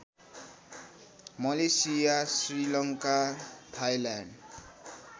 Malaysia Sri Lanka Thailand